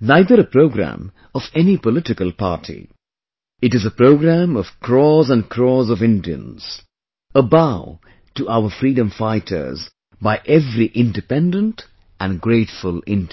neither a programme of any political party...it is a programme of crores and crores of Indians...a bow to our freedom fighters by every independent and grateful Indian